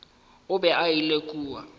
o be a ile kua